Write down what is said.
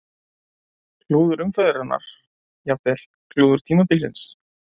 Klúður umferðarinnar: Jafnvel klúður tímabilsins?